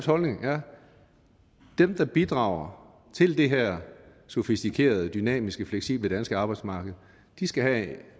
holdning at dem der bidrager til det her sofistikerede dynamiske fleksible danske arbejdsmarked skal have